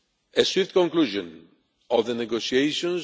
A swift conclusion to the negotiations.